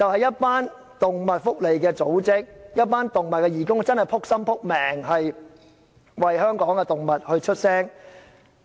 是動物福利組織和義工，他們確實勞心勞力，為香港的動物發聲。